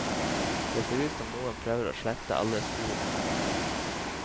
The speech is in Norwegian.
Det ser ut som om noen prøver å slette alle spor.